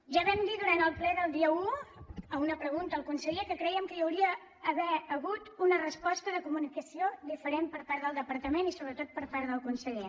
ja vam dir durant el ple del dia un a una pregunta al conseller que crèiem que hi hauria d’haver hagut una resposta de comunicació diferent per part del depar·tament i sobretot per part del conseller